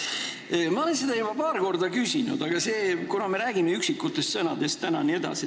Ma olen seda juba paar korda küsinud, aga kuna me räägime täna üksikutest sõnadest, siis ...